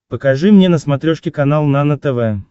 покажи мне на смотрешке канал нано тв